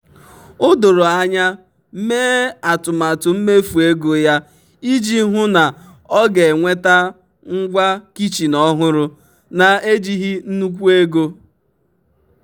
o doro anya mee atụmatụ mmefu ego ya iji hụ na ọ ga-enweta ngwa kichin ọhụrụ na-ejighi nnukwu ego.